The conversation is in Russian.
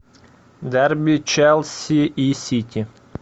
дерби челси и сити